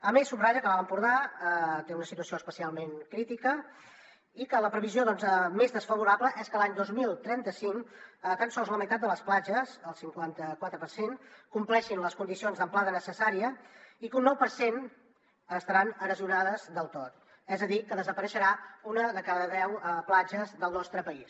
a més subratlla que l’alt empordà té una situació especialment crítica i que la previsió més desfavorable és que l’any dos mil trenta cinc tan sols la meitat de les platges el cinquanta quatre per cent compliran les condicions d’amplada necessària i que un nou per cent estaran erosionades del tot és a dir que desapareixerà una de cada deu platges del nostre país